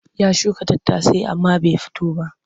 Ya shuka tattasai amma bai fito ba.